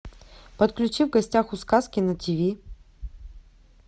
подключи в гостях у сказки на тиви